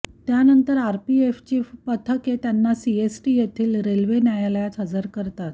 त्यानंतर आरपीएफची पथके त्यांना सीएसटी येथील रेल्वे न्यायालयात हजर करतात